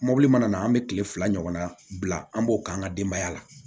Mɔbili mana na an bɛ kile fila ɲɔgɔn na bila an b'o k'an ka denbaya la